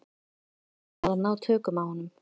Hræðslan var að ná tökum á honum.